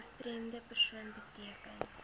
gestremde persoon beteken